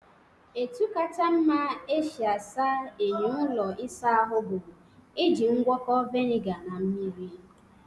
Etu kacha mma esi asa enyo ụlọ isa ahụ bụ iji ngwọkọ vinega na mmiri.